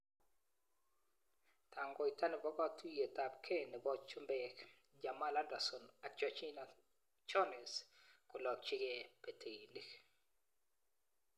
Tangoita nepo katuiyet ap gei nepo chumbeek:Jamel Anderson ak Gergina Jones kolakchigei peteinik